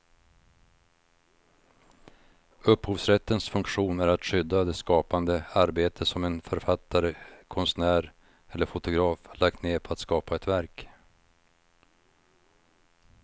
Upphovsrättens funktion är att skydda det skapande arbete som en författare, konstnär eller fotograf lagt ned på att skapa ett verk.